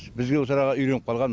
бізге осы араға үйреніп қалған